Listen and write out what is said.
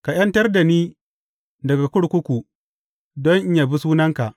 Ka ’yantar da ni daga kurkuku, don in yabi sunanka.